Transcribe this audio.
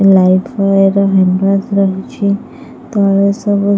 Life ବୟର handwash ରହିଛି ତଳେ ସବୁ--।